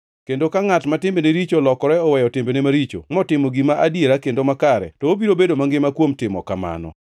Kendo ka ngʼat ma timbene richo olokore oweyo timbene maricho motimo gima adiera kendo makare to obiro bedo mangima kuom timo kamano.